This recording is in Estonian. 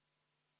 Aitäh!